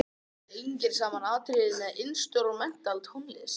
Tengir saman atriðin með instrumental tónlist.